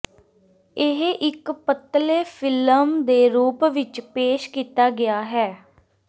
ਇਹ ਇੱਕ ਪਤਲੇ ਫਿਲਮ ਦੇ ਰੂਪ ਵਿਚ ਪੇਸ਼ ਕੀਤਾ ਗਿਆ ਹੈ